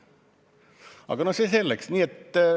Aga see selleks.